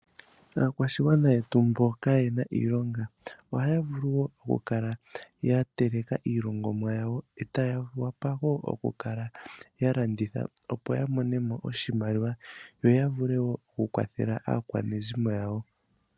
Aakwashigwana yetu mboka kayena iiloga ohaya vulu okukala yateleka iilongomwa yawo eta ya wapa wo okukala yalanditha opo yamone mo oshimaliwa yo yavule wo okukwathela aakwanezimo yawo.